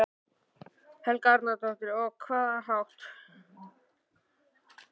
Helga Arnardóttir: Og á hvaða hátt?